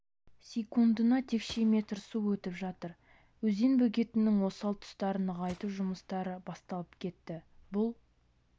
секундына текше метр су өтіп жатыр өзен бөгетінің осал тұстарын нығайту жұмыстары басталып кетті бұл